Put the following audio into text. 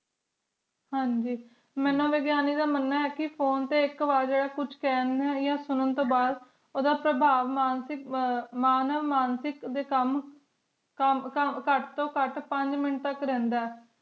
ਹਨ ਗ ਮੇਨੂ ਵਿਗਿਆਨੀ ਦਾ ਮਨਾਂ ਹੈ ਕ ਕ ਫੋਨ ਤੇ ਐਕ ਵਾਰੀ ਕੁਝ ਕਹਿਣ ਆ ਸੁਰਾਂ ਤੋਂ ਬਾਅਦ ਡੇ ਕੰਮ ਖੁਟ ਤੋਂ ਖੁਟ ਰਹਿੰਦਾ ਆਏ